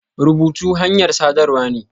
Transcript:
Rubutu hanyar saɗarwa ne.